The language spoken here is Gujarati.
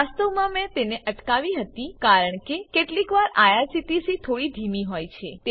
વાસ્તવમાં મેં તેને અટકાવી હતી કારણ કે કેટલીક વાર આઇઆરસીટીસી થોડી ધીમી હોય છે